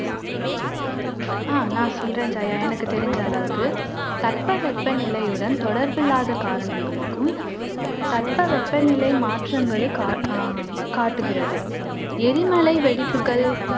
அஹ் நான் சொல்றேன் ஜெயா எனக்கு தெரிஞ்ச அளவுக்கு தட்பவெப்பநிலையுடன் தொடர்பில்லாத காரணங்களுக்கும் தட்பவெப்பநிலை மாற்றங்களுக் அஹ் காட்டுகிறது. எரிமலை வெடிப்புகள்,